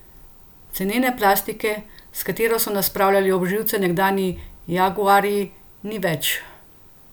Cenene plastike, s katero so nas spravljali ob živce nekdanji jaguarji, ni več!